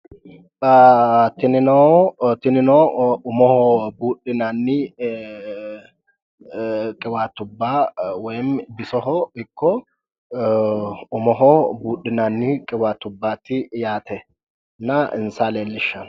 tinino umoho buudhinanni qiwaatubba woyiimmi bisoho ikko umoho buudhinanni qiwaatubbaati yaatena insa leellishshanno